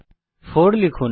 4 লিখুন